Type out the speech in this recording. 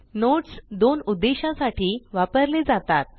notes दोन उद्देशा साठी वापरले जातात